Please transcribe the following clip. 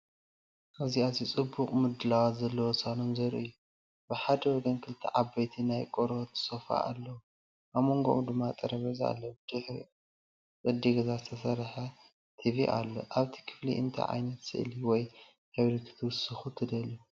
ኣብዚ ኣዝዩ ጽቡቕ ምድላዋት ዘለዎ ሳሎን ዘርኢ እዩ። ብሓደ ወገን ክልተ ዓበይቲ ናይ ቆርበት ሶፋ ኣለዉ፣ ኣብ መንጎኦም ድማ ጠረጴዛ ኣሎ። ብድሕሪኦም ብቅዲ ገዛ ዝተሰርሐ ቲቪ ኣሎ። ኣብዚ ክፍሊ እንታይ ዓይነት ስእሊ ወይ ሕብሪ ክትውስኹ ትደልዩ?